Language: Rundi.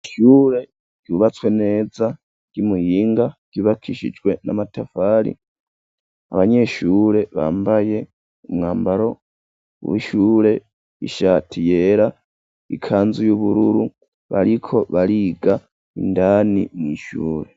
Ishure ryubatswe neza ry'umuyinga ryubakishijwe n'amatafari abanyeshure bambaye umwambaro w'ishure ishati yera ikanzu y'ubururu bariko bariga indani mw'ishure.